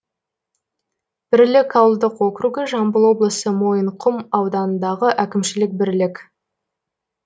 бірлік ауылдық округі жамбыл облысы мойынқұм ауданындағы әкімшілік бірлік